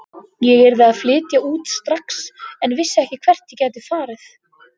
Ég yrði að flytja út strax en vissi ekki hvert ég gæti farið.